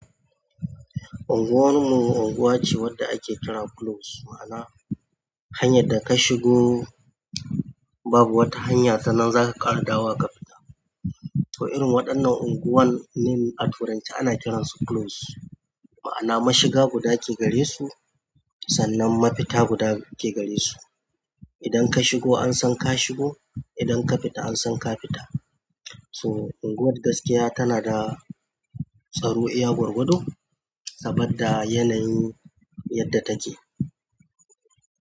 Unguwarmu unguwa ce wadda ake kira close, ma'ana hanyar da ka shigo babu wata hanya sannan zaka ƙara dawowa ka fita. To irin waɗannan unguwanni a turance ana kiransu close. Ma'ana mashiga guda ke gare su sannan mafita guda ke gare su idan ka shigo an san ka shigo, idan ka fita an san ka fita. So unguwar gaskiya tana da tsaro iya gwargwado saboda yanayin yadda take.